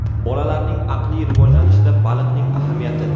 Bolalarning aqliy rivojlanishida baliqning ahamiyati.